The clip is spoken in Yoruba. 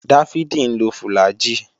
Dáfídì ń lo fùlàgi